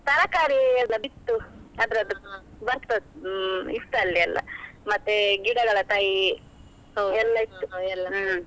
ತರಕಾರಿ ಎಲ್ಲ ಬಿತ್ತು ಅದ್ರದ್ದು ಬರ್ತದ್ದ. ಹ್ಮ್ ಇತ್ತು ಅಲ್ಲಿ ಎಲ್ಲಾ, ಮತ್ತೆ ಗಿಡಗಳ ತೈ ಎಲ್ಲಾ ಇತ್ತು ನಾವು ಎಲ್ಲಾ. ಹ್ಮ್.